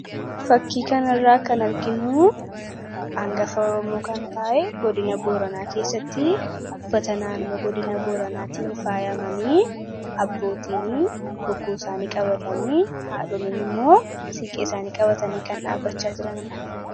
Fakkii kanarraa kan arginu hangafa Oromoo kan ta’e godina Booranaa keessatti uffata naannoo godina Booranaatiin faayamanii abbootiin bokkuu isaanii qabatanii, haadholiin immoo siinqee isaanii qabatanii kan dhaabbachaa jiranidha.